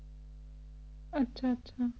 ਆਚਾ ਆਚਾ